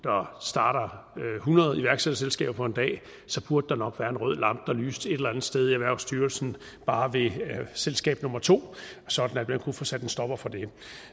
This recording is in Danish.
starter hundrede iværksætterselskaber på en dag så burde der nok være en rød lampe der lyste et eller andet sted i erhvervsstyrelsen bare ved selskab nummer to sådan at man kunne få sat en stopper for det